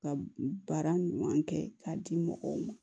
Ka baara ɲuman kɛ k'a di mɔgɔw ma